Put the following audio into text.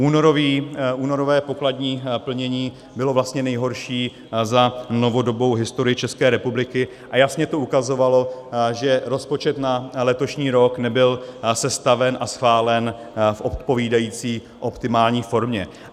Únorové pokladní plnění bylo vlastně nejhorší za novodobou historii České republiky a jasně to ukazovalo, že rozpočet na letošní rok nebyl sestaven a schválen v odpovídající optimální formě.